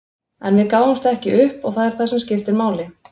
En við gáfumst ekki upp og það er það sem skiptir máli.